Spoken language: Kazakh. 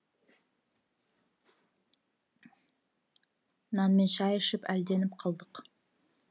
нанмен шай ішіп әлденіп қалдық